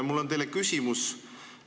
Mul on teile küsimus.